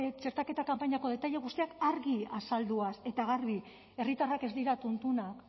txertaketa kanpainako detaile guztiak argi eta garbi azalduaz herritarrak ez dira tuntunak